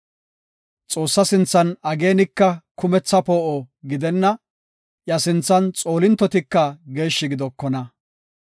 Xoossaa sinthan ageenika kumetha poo7o gidenna; iya sinthan xoolintotika geeshshi gidokona.